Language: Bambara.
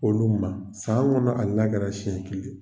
Olu ma san kɔnɔ hali n'a kɛra senɲɛ kelen ye.